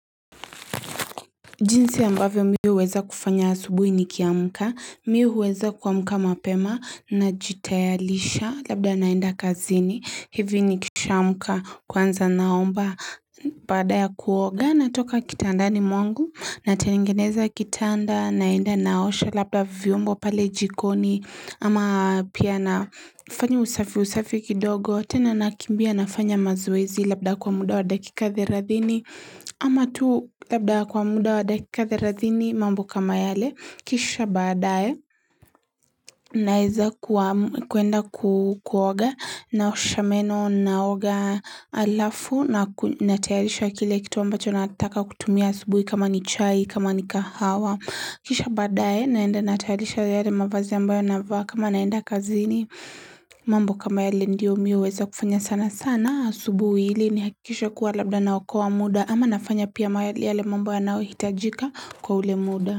Jinsi ya ambavyo mimi huweza kufanya asubuhi nikiamka, mimi huweza kuamka mapema na jitayarisha labda naenda kazini, hivi nikishamka kwanza naomba badaya kuoga natoka kitandani mwangu natengeneza kitanda, naenda naosha labda viombo pale jikoni, ama pia nafanya usafi usafi kidogo, tena nakimbia nafanya mazoezi labda kwa muda wa dakika theladhini Ama tu labda kwa muda wa dakika theladhini mambo kama yale, kisha badae naeza kuenda kuoga, naosha meno, naoga alafu na natayarisha kile kitu ambacho nataka kutumia asubuhi kama ni chai kama ni kahawa. Kisha badae naenda natayarisha yale mavazi ambayo navaa kama naenda kazini mambo kama yale ndio mimi weza kufanya sana sana. Asubuhi ili nihakikishe kuwa labda naokoa muda ama nafanya pia yale mambo yanayohitajika kwa ule muda.